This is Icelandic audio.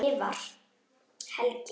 skrifar Helgi.